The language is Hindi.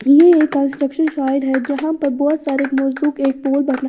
ये एक कंस्ट्रक्शन साइट है जहा पर बहुत सारे मजदूर एक पोल बना--